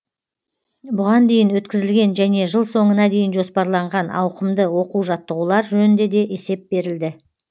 бұған дейін өткізілген және жыл соңына дейін жоспарланған ауқымды оқу жаттығулар жөнінде де есеп берілді